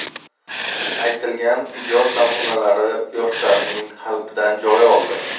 aytilgan ijod namunalari yoshlarning qalbidan joy oldi.